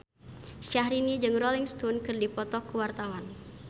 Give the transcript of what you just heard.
Syahrini jeung Rolling Stone keur dipoto ku wartawan